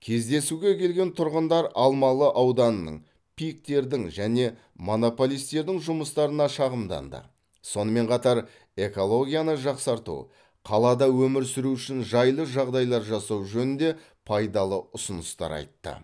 кездесуге келген тұрғындар алмалы ауданының пик тердің және монополистердің жұмыстарына шағымданды сонымен қатар экологияны жақсарту қалада өмір сүру үшін жайлы жағдайлар жасау жөнінде пайдалы ұсыныстар айтты